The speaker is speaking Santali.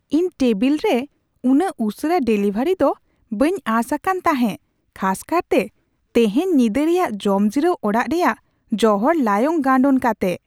ᱤᱧ ᱴᱮᱵᱤᱞ ᱨᱮ ᱩᱱᱟᱹᱜ ᱩᱥᱟᱹᱨᱟ ᱰᱮᱞᱤᱵᱷᱟᱨᱤ ᱫᱚ ᱵᱟᱹᱧ ᱟᱸᱥ ᱟᱠᱟᱱ ᱛᱟᱦᱮᱸ ᱠᱷᱟᱥ ᱠᱟᱨᱛᱮ ᱛᱤᱦᱮᱧ ᱧᱤᱫᱟᱹ ᱨᱮᱭᱟᱜ ᱡᱚᱢᱡᱤᱨᱟᱹᱣ ᱚᱲᱟᱜ ᱨᱮᱭᱟᱜ ᱡᱚᱦᱚᱲ ᱞᱟᱭᱚᱝ ᱜᱟᱱᱰᱳᱱ ᱠᱟᱛᱮ ᱾